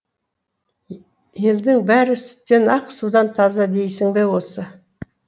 елдің бәрі сүттен ақ судан таза дейсің бе осы